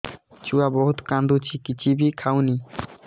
ଛୁଆ ବହୁତ୍ କାନ୍ଦୁଚି କିଛିବି ଖାଉନି